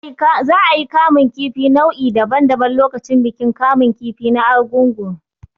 Za a yi kamun kifi nau'i daban daban lokacin bikin kamun kifi na Arugungu.